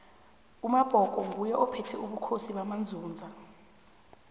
umabhko nguye ophethe ubukhosi bamanzunza